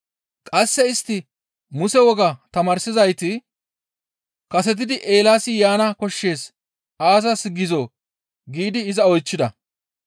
Qasse istti Muse wogaa tamaarsizayti, «Kasetidi Eelaasi yaana koshshees aazas gizoo?» giidi iza oychchida.